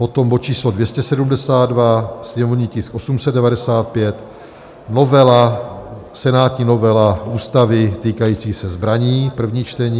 Potom bod číslo 272, sněmovní tisk 895, senátní novela Ústavy týkající se zbraní, první čtení.